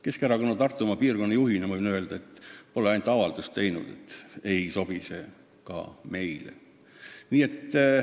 Keskerakonna Tartumaa piirkonna juhina võin öelda, et me pole selle kohta avaldust teinud, aga ei sobi see ka meile.